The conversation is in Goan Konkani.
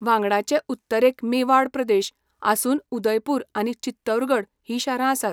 वांगडाचे उत्तरेक मेवाड प्रदेश आसून उदयपूर आनी चित्तौरगड हीं शारां आसात.